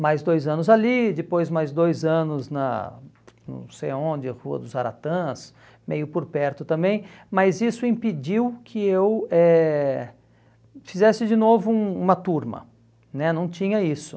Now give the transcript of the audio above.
Mais dois anos ali, depois mais dois anos na, não sei onde, Rua dos Aratãs, meio por perto também, mas isso impediu que eu eh fizesse de novo um uma turma né, não tinha isso.